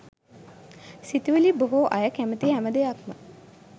සිතුවිළි බොහෝ අය කැමති හැම දෙයක්ම